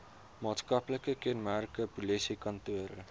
maatskaplike kenmerke polisiekantore